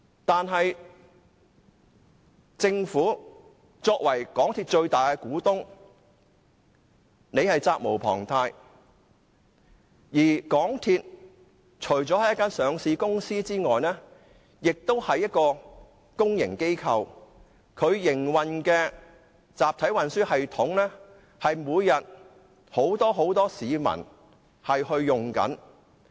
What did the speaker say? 但是，政府作為港鐵公司的最大股東，責無旁貸，而港鐵除了是一間上市公司外，亦是公營機構，所營運的集體運輸系統每天都有很多市民使用。